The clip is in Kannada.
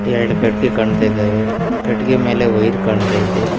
ಎರಡು ಕಟ್ಟಿಗೆ ಕಾಣ್ತಾ ಇದ್ದಾವೆ ಕಟ್ಟಿಗೆ ಮೇಲೆ ವಯಿರು ಕಾಣ್ತಾ ಇದೆ.